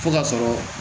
Fo ka sɔrɔ